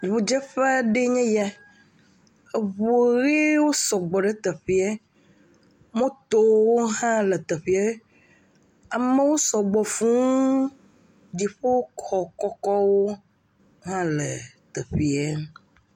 Ŋudzeƒe aɖee nye ya, eŋuwo sɔgbɔ ɖe teƒie, motowo hã le teƒie, amewo sɔgbɔ fuu, dziƒoxɔ kɔkɔwo hã le teƒee.